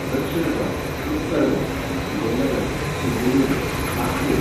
दक्षिण गोंय, उत्तर गोंय, विजयनगर, सिंधुदुर्ग, नागपूर